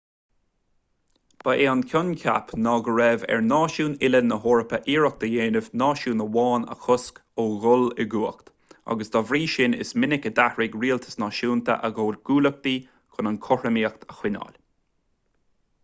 ba é an coincheap ná go raibh ar náisiúin uile na heorpa iarracht a dhéanamh náisiún amháin a chosc ó dhul i gcumhacht agus dá bhrí sin is minic a d'athraigh rialtais náisiúnta a gcomhghuaillíochtaí chun an chothromaíocht a choinneáil